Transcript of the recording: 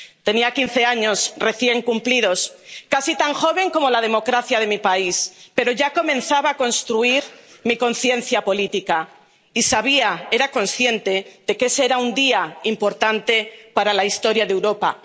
Tenía quince años recién cumplidos —casi tan joven como la democracia de mi país—, pero ya comenzaba a construir mi conciencia política y era consciente de que ese era un día importante para la historia de Europa.